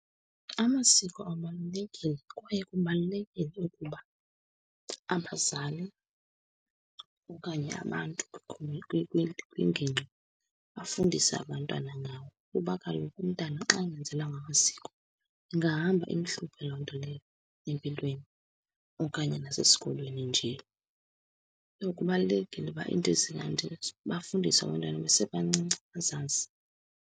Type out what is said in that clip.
Amasiko abalulekile kwaye kubalulekile ukuba abazali okanye abantu kwigingqi bafundise abantwana ngawo. Kuba kaloku umntana xa engenzelwanga masiko, ingahamba imhluphe loo nto leyo empilweni okanye nasesikolweni nje. So kubalulekileyo uba iinto bafundiswe abantwana besebancinci, bazazi.